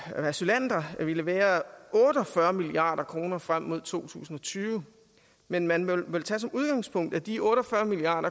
asylanter ville være otte og fyrre milliard kroner frem mod to tusind og tyve men man må vel tage som udgangspunkt at de otte og fyrre milliard